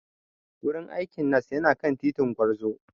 Gurin askin Nass yana kan titin Gwarzo.